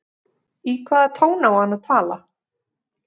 Í hvaða tón á hann að tala?